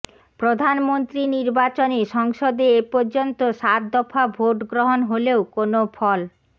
প্রধানমন্ত্রী নির্বাচনে সংসদে এ পর্যন্ত সাতদফা ভোট গ্রহণ হলেও কোনো ফল